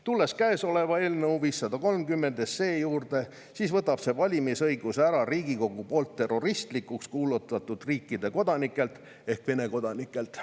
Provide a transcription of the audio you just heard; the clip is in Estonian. Tulen eelnõu 530 juurde, mis võtab valimisõiguse ära Riigikogu poolt terroristlikuks kuulutatud riigi ehk Venemaa kodanikelt.